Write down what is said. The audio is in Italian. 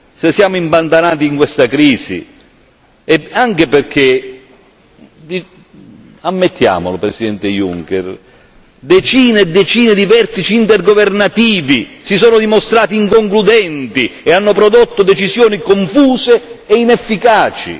Se siamo impantanati in questa crisi è anche perché ammettiamolo Presidente Juncker decine e decine di vertici intergovernativi si sono dimostrati inconcludenti e hanno prodotto decisioni confuse e inefficaci.